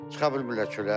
Çıxa bilmirlər çölə.